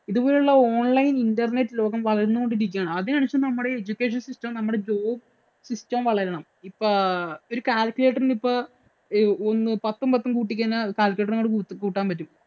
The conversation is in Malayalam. ഇതുപോലെയുള്ള online internet ലോകം വളർന്നു കൊണ്ടിരിക്കുകയാണ്. നമ്മുടെ education system ഉം നമ്മുടെ job system ഉം വളരണം. ഇപ്പൊ ഒരു calcuculator ഉ ഇപ്പം ഒന്ന് പത്തും പത്തും കൂട്ടി കഴിഞ്ഞാ calcuculator ഇന് അങ്ങോട്ട്‌ കൂട്ടാന്‍ പറ്റും.